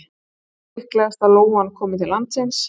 hvenær er líklegast að lóan komi til landsins